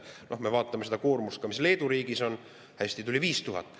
Me vaatame ka seda koormust, mis Leedu riigis on – hästi, tuli 5000.